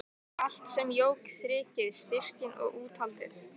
Allt sem jók þrekið, styrkinn og úthaldið.